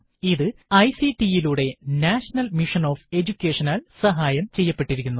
ഇത് ഐസിടി യിലൂടെ national mission on എജുകേഷനാൽ സഹായം ചെയ്യപ്പെട്ടിരിക്കുന്നു